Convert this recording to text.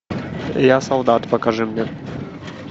я солдат покажи мне